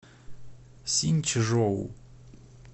синьчжоу